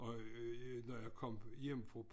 Og når jeg kom hjem fra